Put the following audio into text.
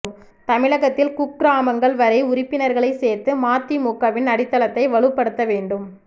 தமிழகத்தில் குக்கிராமங்கள் வரை உறுப்பினர்களை சேர்த்து மதிமுகவின் அடித்தளத்தை வலுப்படுத்த வேண்டும்